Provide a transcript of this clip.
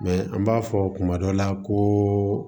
Mɛ an b'a fɔ kuma dɔ la koo